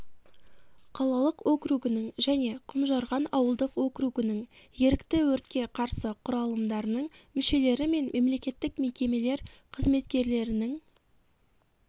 қалалық округінің және құмжарған ауылдық округінің ерікті өртке қарсы құралымдарының мүшелері мен мемлекеттік мекемелер қызметкерлерінің